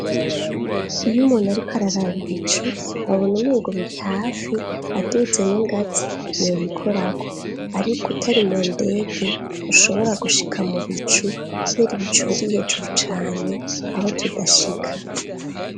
Iyo umuntu ariko araraba ibicu abona umengo biri hafi aduze n'ingazi yobikorako, ariko utari mu ndege ntushobora gushika mu bicu kubera ibicu biri hejuru cane, aho tudashika.